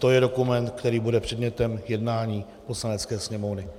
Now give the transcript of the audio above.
To je dokument, který bude předmětem jednání Poslanecké sněmovny.